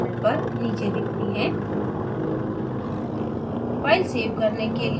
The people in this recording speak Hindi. नापी हुई values panel पर नीचे दिखती हैं